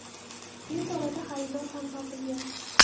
Tez orada xaridor ham topilgan.